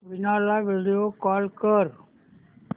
वीणा ला video call कर